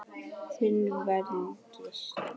Þin Védís.